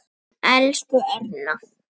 Elsku Erna.